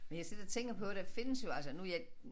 Men jeg sidder tænker på der findes jo altså nu jeg